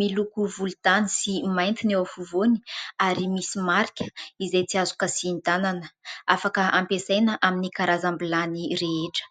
miloko volontany sy mainty ny eo afovoany ary misy marika izay tsy azo kasian-tanana, afaka hampiasaina amin'ny karazam-bilany rehetra.